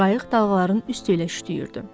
Qayıq dalğaların üstü ilə şütüyürdü.